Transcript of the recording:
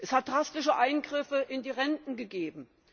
Es hat drastische Eingriffe in die Renten gegeben.